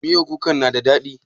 Miyan kukan na da daɗi?